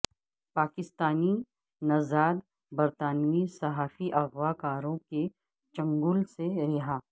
پاکستانی نژاد برطانوی صحافی اغوا کاروں کے چنگل سے رہا